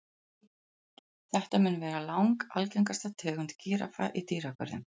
Þetta mun vera langalgengasta tegund gíraffa í dýragörðum.